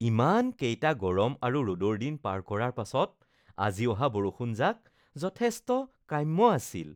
ইমানকেইটা গৰম আৰু ৰ’দৰ দিন পাৰ কৰাৰ পাছত আজি অহা বৰষুণজাক যথেষ্ট কাম্য আছিল